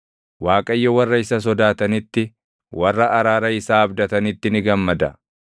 Waaqayyo warra isa sodaatanitti, warra araara isaa abdatanitti ni gammada.